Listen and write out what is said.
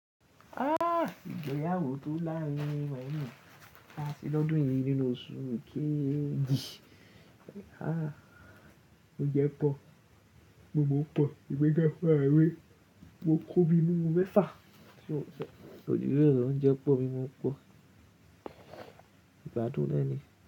Ah! Ìgbéyàwó tó láárín-rin monì ti are ni ọdún yìí nínú oṣù kéjì. Ah! Oúnjẹ pọ̀, mímú pọ̀, emi fún rààra mi, mo kóbi mimú mẹ́fà, tí òun ṣe. Kooju beelo oúnjẹ pọ̀, mímú pọ̀. Ìgbádùn náà ni.